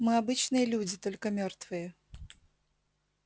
мы обычные люди только мёртвые